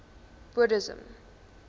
buddhism